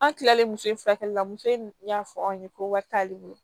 An kilalen muso in furakɛli la muso in y'a fɔ anw ye ko wari t'ale bolo